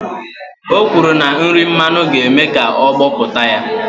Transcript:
O kwuru na nri mmanu ga-eme ka ọ gbọpụta ya